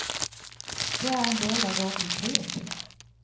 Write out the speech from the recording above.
Det er en del av vår kultur.